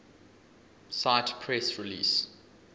cite press release